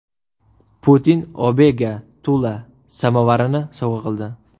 Putin Abega Tula samovarini sovg‘a qildi.